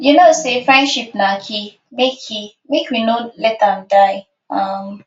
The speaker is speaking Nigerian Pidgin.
you know say friendship na key make key make we no let am die um